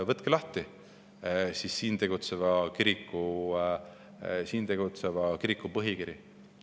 Võtke lahti siin tegutseva kiriku põhikiri.